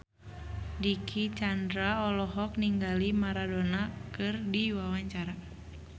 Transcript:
Dicky Chandra olohok ningali Maradona keur diwawancara